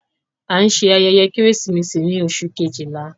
A ń ṣe ayẹyẹ Keresimesi ni Oṣu kejila